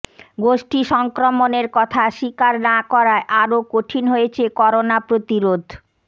গোষ্ঠী সংক্রমণের কথা স্বীকার না করায় আরও কঠিন হয়েছে করোনা প্রতিরোধ